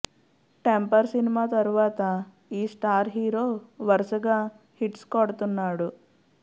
temper cinema తరువాత ఈ star hero వరసగా హిట్స్ కొడుతున్నాడు